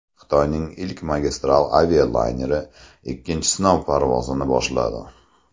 Xitoyning ilk magistral avialayneri ikkinchi sinov parvozini boshladi.